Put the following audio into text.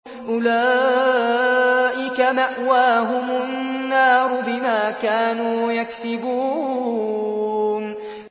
أُولَٰئِكَ مَأْوَاهُمُ النَّارُ بِمَا كَانُوا يَكْسِبُونَ